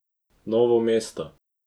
Novo mesto.